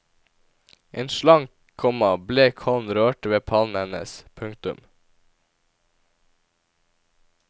En slank, komma blek hånd rørte ved pannen hennes. punktum